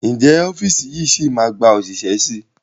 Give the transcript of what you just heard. Ǹjẹ́ ọ́fíìsì yìí máa gba òṣìṣẹ́ síi?